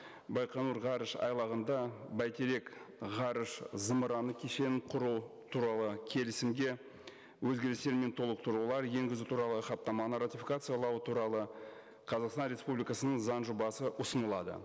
байқоңыр ғарышайлағында бәйтерек ғарыш зымыраны кешенін құру туралы келісімге өзгерістер мен толықтырулар енгізу туралы хаттаманы ратификациялау туралы қазақстан республикасының заң жобасы ұсынылады